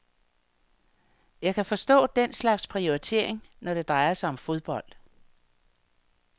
Jeg kan forstå den slags prioritering, når det drejer sig om fodbold.